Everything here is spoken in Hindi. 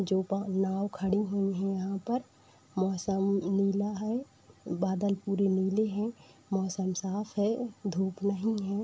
जो ब नाव खड़ी हुई हैं यहाँ पर। मौसम नीला है बादल पूरी नीली है मौसम साफ है धूप नहीं है।